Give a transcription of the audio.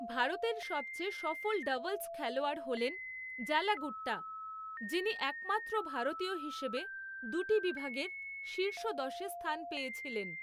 ভারতের সবচেয়ে সফল ডাবলস খেলোয়াড় হলেন জ্বালা গুট্টা, যিনি একমাত্র ভারতীয় হিসেবে দুটি বিভাগের শীর্ষ দশে স্থান পেয়েছিলেন।